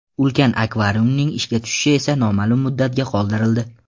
Ulkan akvariumning ishga tushishi esa noma’lum muddatga qoldirildi.